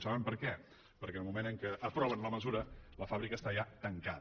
saben per què perquè en el moment en què aproven la mesura la fàbrica està ja tancada